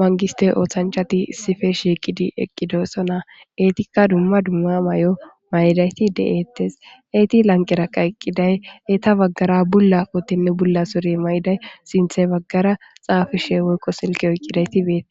manggistte oothanchati issife shiiqidi eqqidosona. Eetikka dumma dumma mayo mayidayti deettes. Eeti lanqeraqa eqqiday eta baggara bulla kootenne bulla sure mayiday sinthe baggara xaafishe woykqo silke oyqqidayti beete.